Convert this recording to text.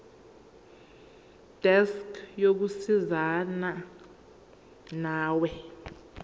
desk yokusizana nawe